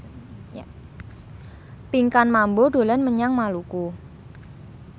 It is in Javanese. Pinkan Mambo dolan menyang Maluku